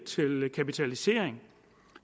til kapitalisering